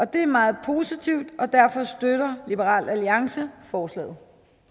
det er meget positivt og derfor støtter liberal alliance forslaget